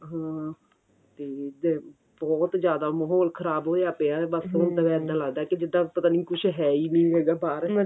ਹਾਂ ਤੇ ਇਧਰ ਬਹੁਤ ਜਿਆਦਾ ਮਹੋਲ ਖਰਾਬ ਹੋਇਆ ਪਿਆ ਬੱਸ ਇੱਦਾਂ ਲੱਗਦਾ ਕੀ ਜਿੱਦਾਂ ਪਤਾ ਨੀਂ ਕੁੱਝ ਹੈ ਹੀ ਨਹੀਂ ਲੱਗਦਾ ਬਾਹਰ